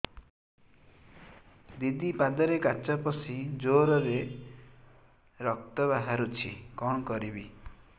ଦିଦି ପାଦରେ କାଚ ପଶି ଜୋରରେ ରକ୍ତ ବାହାରୁଛି କଣ କରିଵି